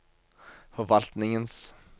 forvaltningens